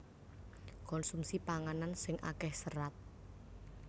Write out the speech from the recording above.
Konsumsi panganan sing akéh serat